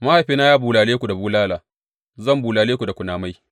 Mahaifina ya bulale ku da bulala; zan bulale ku da kunamai.’